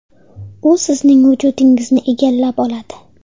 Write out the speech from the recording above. U sizning vujudingizni egallab oladi.